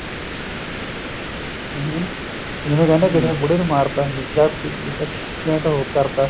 ਠੀਕ ਹੈ ਨਾ ਜਿਵੇਂ ਕਹਿੰਦੇ ਕਿਸੇ ਬੁੜੇ ਨੂੰ ਮਾਰਤਾ ਜਾਂ accident ਹੋ ਕਰਤਾ